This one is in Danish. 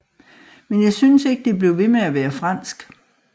Men jeg synes ikke det blev ved med at være fransk